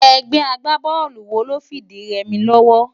Ègbé àgbábólú wó ló n fi idi rè mi lòwò?